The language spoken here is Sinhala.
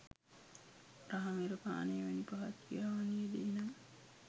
රහමෙර පානය වැනි පහත් ක්‍රියාවන්හි යෙදෙයි නම්